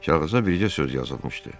Kağıza bircə söz yazılmışdı.